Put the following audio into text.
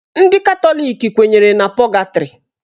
Ndị Katọlik kwenyere na pọgatrị.